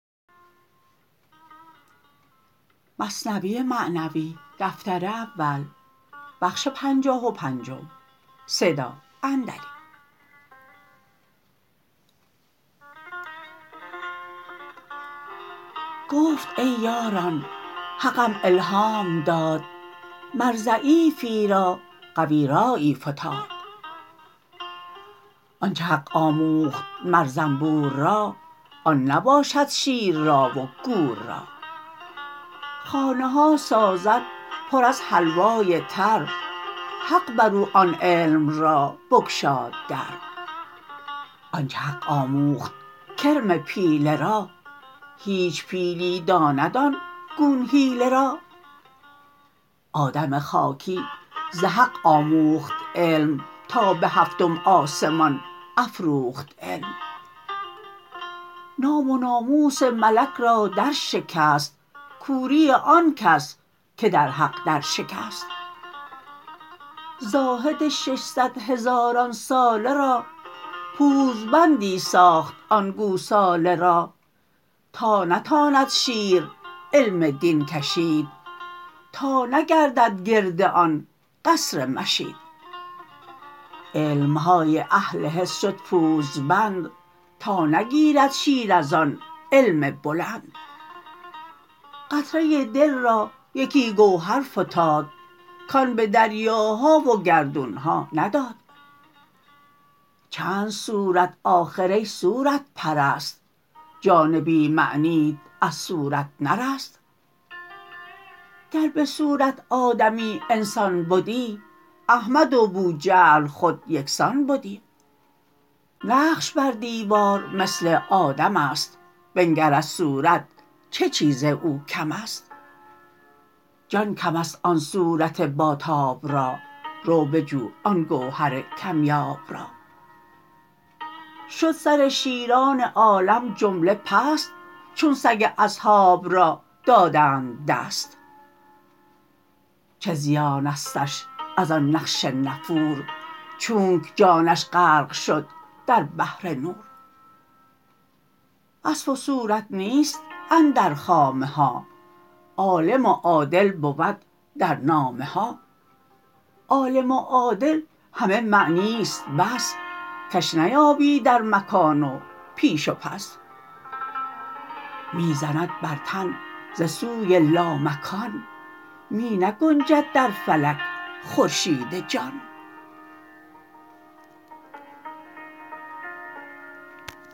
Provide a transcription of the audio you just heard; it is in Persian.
گفت ای یاران حقم الهام داد مر ضعیفی را قوی رایی فتاد آنچ حق آموخت مر زنبور را آن نباشد شیر را و گور را خانه ها سازد پر از حلوای تر حق برو آن علم را بگشاد در آنچ حق آموخت کرم پیله را هیچ پیلی داند آن گون حیله را آدم خاکی ز حق آموخت علم تا به هفتم آسمان افروخت علم نام و ناموس ملک را در شکست کوری آنکس که در حق در شکست زاهد ششصد هزاران ساله را پوزبندی ساخت آن گوساله را تا نتاند شیر علم دین کشید تا نگردد گرد آن قصر مشید علمهای اهل حس شد پوزبند تا نگیرد شیر از آن علم بلند قطره دل را یکی گوهر فتاد کان به دریاها و گردونها نداد چند صورت آخر ای صورت پرست جان بی معنیت از صورت نرست گر بصورت آدمی انسان بدی احمد و بوجهل خود یکسان بدی نقش بر دیوار مثل آدمست بنگر از صورت چه چیز او کمست جان کمست آن صورت با تاب را رو بجو آن گوهر کم یاب را شد سر شیران عالم جمله پست چون سگ اصحاب را دادند دست چه زیانستش از آن نقش نفور چونک جانش غرق شد در بحر نور وصف و صورت نیست اندر خامه ها عالم و عادل بود در نامه ها عالم و عادل همه معنیست بس کش نیابی در مکان و پیش و پس می زند بر تن ز سوی لامکان می نگنجد در فلک خورشید جان